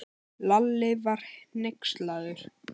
Lalli var hneykslaður.